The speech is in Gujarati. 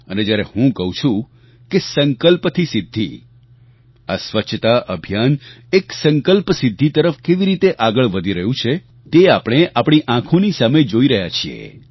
અને જ્યારે હું કહું છું કે સંકલ્પ થી સિદ્ધિ આ સ્વચ્છતા અભિયાન એક સંકલ્પ સિદ્ધિ તરફ કેવી રીતે આગળ વધી રહ્યું છે તે આપણે આપણી આંખોની સામે જોઈ રહ્યા છીએ